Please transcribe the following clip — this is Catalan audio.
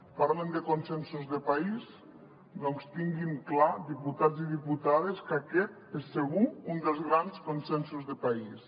parlant de consensos de país doncs tinguin clar diputats i diputades que aquest és segur un dels grans consensos de país